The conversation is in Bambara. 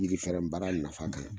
Jirifɛrɛn baara nafa kan